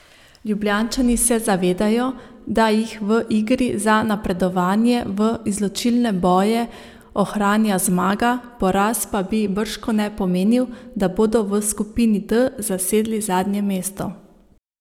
Ljubljančani se zavedajo, da jih v igri za napredovanje v izločilne boje ohranja zmaga, poraz pa bi bržkone pomenil, da bodo v skupini D zasedli zadnje mesto.